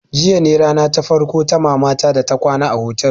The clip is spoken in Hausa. Jiya ne rana ta farko ta mama ta ta kwana a otel